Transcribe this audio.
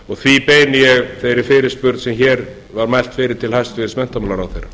og því beini ég þeirri fyrirspurn sem hér var mælt fyrir til hæstvirts menntamálaráðherra